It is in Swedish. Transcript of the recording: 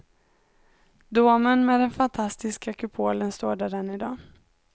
Domen med den fantastiska kupolen står där än i dag.